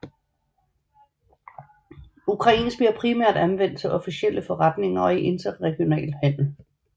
Ukrainsk bliver primært anvendt til officielle forretninger og i interregional handel